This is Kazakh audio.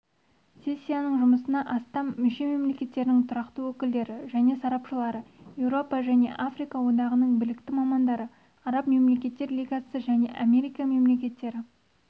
сессияның жұмысына астам мүше мемлекеттерінің тұрақты өкілдері және сарапшылары еуропа және африка одағының білікті мамандары араб мемлекеттер лигасы және америка мемлекеттері